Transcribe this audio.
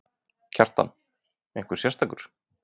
Kjartan: Einhver sérstakur?